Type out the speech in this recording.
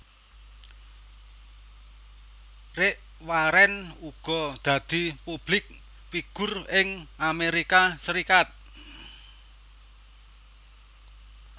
Rick Warren uga dadi publik figur ing Amérika Serikat